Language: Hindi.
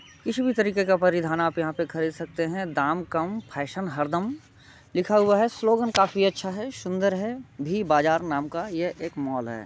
किसी भी तरीके का परिधान आप यहाँ पे खरीद सकते हैं। दाम कम फैशन हर दम लिखा हुआ है। स्लोगन काफी अच्छा है सुन्दर है भी बाजार नाम का यह एक मॉल है।